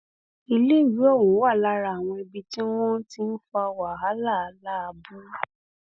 ó ní gómìnà fa kọkọrọ ilé um náà lé ìyá àwẹ̀ró lọwọ um